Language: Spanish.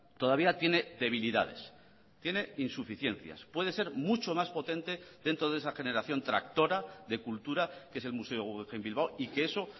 todavía tiene debilidades tiene insuficiencias puede ser mucho más potente dentro de esa generación tractora de cultura que es el museo guggenheim bilbao y que eso